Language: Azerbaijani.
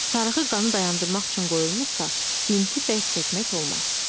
Sarğı qanı dayandırmaq üçün qoyulmursa, binti bərk çəkmək olmaz.